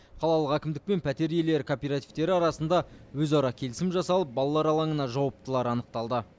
қалалық әкімдік пен пәтер иелері кооперативтері арасында өзара келісім жасалып балалар алаңына жауаптылар анықталды